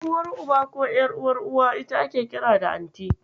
Ƴar'uwar Uba ko ƴar'uwar Uwa ita ake kira da Anti.